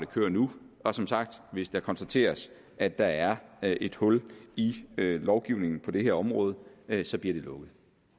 kører nu og som sagt hvis det konstateres at der er er et hul i lovgivningen på det her område så bliver det lukket